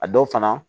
A dɔw fana